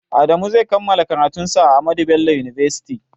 Adamu zai kammala karatun sa a ahmadu bello university